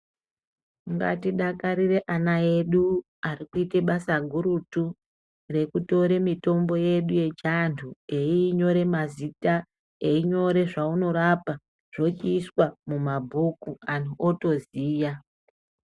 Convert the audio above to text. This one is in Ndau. Ngatidakarire ana edu arikuite basa gurutu rekutore mitombo yedu yechiantu eiinyore mazita, einyore zveunorape, zvochiiswa mumabhuku, antu otoziya.